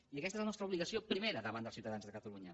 i aquesta és la nostra obligació primera davant dels ciutadans de catalunya